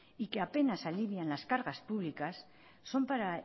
y que apenas alivian en las cargas públicas son para